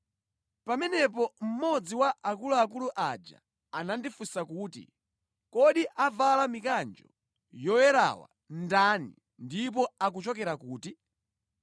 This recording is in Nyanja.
Pamenepo mmodzi wa akuluakulu aja anandifunsa kuti, “Kodi avala mikanjo yoyerawa ndani ndipo akuchokera kuti?”